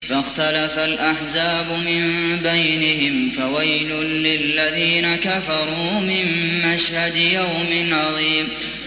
فَاخْتَلَفَ الْأَحْزَابُ مِن بَيْنِهِمْ ۖ فَوَيْلٌ لِّلَّذِينَ كَفَرُوا مِن مَّشْهَدِ يَوْمٍ عَظِيمٍ